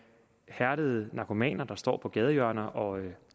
hærdede narkomaner der står på gadehjørner og